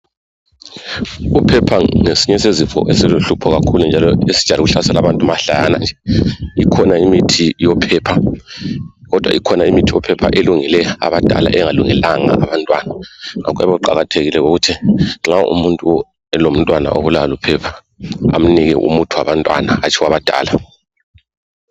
Uphepha ngesinye sezifo esiluhlupho njalo esijayele ukuhlasela abantu mahlayana nje ikhona imithi yophepha kodwa ikhona imithi yophepha elungele abadala engalungelanga abantwana okuyabe kuqakathekile ukuthi umuntu nxa elomntwana obulawa luphepha amnike umuthi wabantwana hatshi owabadala.